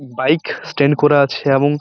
bike stand করা আছে এবং--